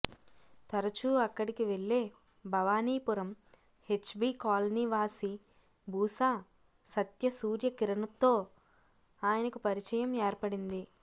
తరచూ అక్కడికి వెళ్లే భవానీపురం హెచ్బీ కాలనీవాసి బూసా సత్యసూర్యకిరణ్తో ఆయనకు పరిచయం ఏర్పడింది